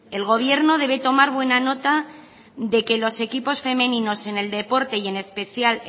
el gobierno debe tomar buena nota de que los equipos femeninos en el deporte y en especial